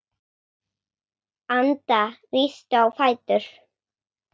Anda, rístu á fætur.